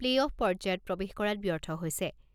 Play off পৰ্যায়ত প্ৰৱেশ কৰাত ব্যৰ্থ হৈছে।